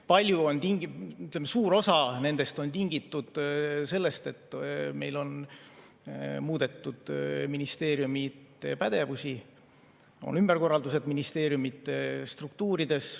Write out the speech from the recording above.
Palju, ütleme, suur osa nendest on tingitud sellest, et meil on muudetud ministeeriumide pädevusi, on ümberkorraldused ministeeriumide struktuurides.